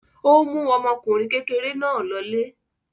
Ó mú ọmọkùnrin kékeré náà lọlé.